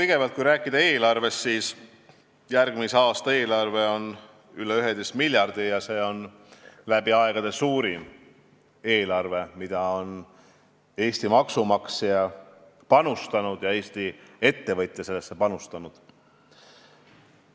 Kõigepealt, kui rääkida eelarvest, siis järgmise aasta eelarve on üle 11 miljardi ja see on läbi aegade suurim eelarve, millesse on Eesti maksumaksja ja Eesti ettevõtja panustanud.